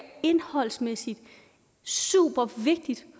indholdsmæssigt supervigtigt